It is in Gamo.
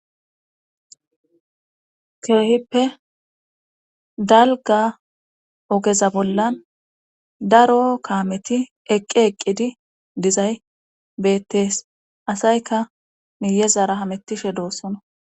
Keehippe dalga ogeza bollan daro kaameti eqqi eqqidi dizay beettees asayka miyezara hamettishe doossona.